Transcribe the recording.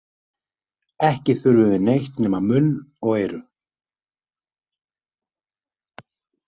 Ekki þurfum við neitt nema munn og eyru!